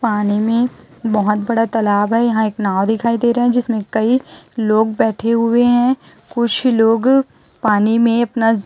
पानी में बहोत बड़ा तालाब है यहां एक नाव दिखाई दे रहा है जिसमें कई लोग बैठे हुए हैं कुछ लोग पानी में अपना--